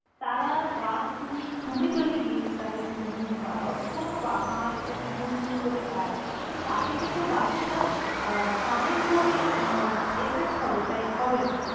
তারা গান তুমি তুমি যদি গেয়ে তাদের শো~ ঘুম পাড়া, কোনো বা~ আমার যে গুনগুন করে গায় তো তাতে কিন্তু বাচ্ছার আহ কানের কোনো এ~ উম effect হবে তাই, হবে না।